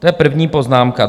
To je první poznámka.